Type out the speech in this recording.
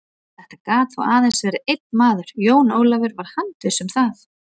Þetta gat þó aðeins verið einn maður, Jón Ólafur var handviss um það.